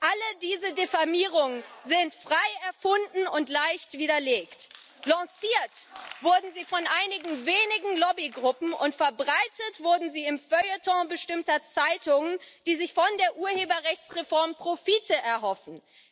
All diese Diffamierungen sind frei erfunden und leicht widerlegt. Lanciert wurden sie von einigen wenigen Lobbygruppen, und verbreitet wurden sie im Feuilleton bestimmter Zeitungen, die sich von der Urheberrechtsreform Profite erhoffen.